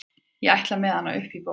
ég ætla með hann upp í ból